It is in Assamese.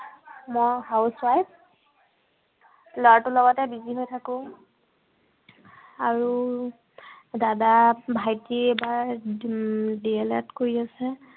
মই housewife লৰাটোৰ লগতে busy হৈ থাকো। আৰু দাদা, ভাইটি এইবাৰ উম DELED কৰি আছে।